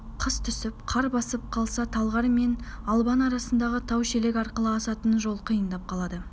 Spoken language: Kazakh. қыс түсіп қар басып қалса талғар мен албан арасындағы тау-шелек арқылы асатын жол қиындап қалады